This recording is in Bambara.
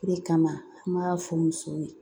O de kama an b'a fɔ musow ye